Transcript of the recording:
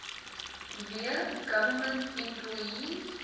w government employees